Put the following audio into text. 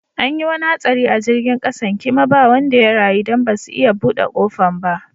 An yi wani hatsari a jirigin kasan kima ba wanda ya rayu dan basu iya bude kofan ba.